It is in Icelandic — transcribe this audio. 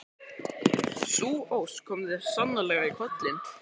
Sú ósk kom þér sannarlega í koll.